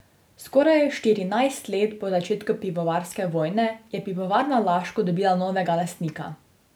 Skoraj štirinajst let po začetku pivovarske vojne je Pivovarna Laško dobila novega lastnika.